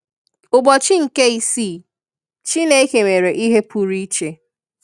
Ụbọchị nke isii, Chineke mere ihe pụrụ iche.